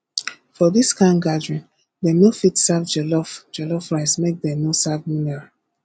for this kind gathering dem no fit serve jollof jollof rice make dem no serve mineral